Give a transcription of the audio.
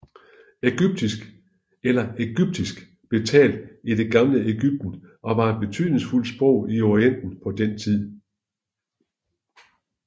Egyptisk eller ægyptisk blev talt i Det gamle Egypten og var et betydningsfuldt sprog i Orienten på den tid